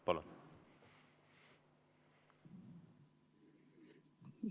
Palun!